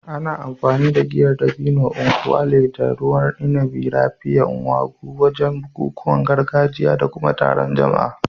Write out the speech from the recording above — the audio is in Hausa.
Ana amfani da Giyar dabino (nkwu elu) da ruwan inabi "Raphia" (Ngwo) wajen bukukuwan gargajiya da kuma taron jama'a.